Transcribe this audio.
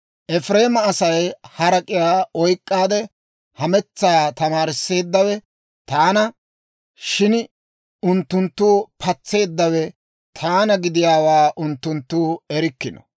Efireema asaa harak'iyaa oyk'k'aade hametsaa tamaarisseeddawe taana; shin unttunttu patseeddawe taana gidiyaawaa unttunttu erikkino.